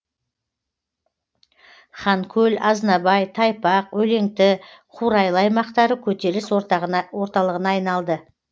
ханкөл азнабай тайпақ өлеңті қурайлы аймақтары көтеріліс орталығына айналды